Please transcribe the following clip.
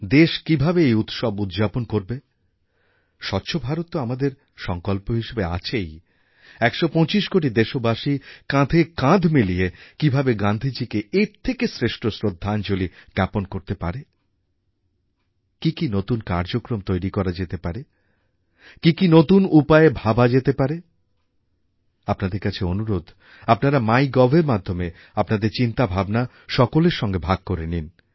দেশ কীভাবে এই উৎসব উদ্যাপন করবে স্বচ্ছ ভারত তো আমাদের সঙ্কল্প হিসেবে আছেই ১২৫ কোটি দেশবাসী কাঁধে কাঁধ মিলিয়ে কীভাবে গান্ধীজীকে এর থেকে শ্রেষ্ঠ শ্রদ্ধাঞ্জলী জ্ঞাপন করতে পারে কি কি নতুন কার্যক্রম তৈরি করা যেতে পারে কি কি নতুন উপায়ে ভাবা যেতে পারে আপনাদের কাছে অনুরোধ আপনারা mygovএর মাধ্যমে আপনাদের চিন্তাভাবনা সকলের সঙ্গে ভাগ করে নিন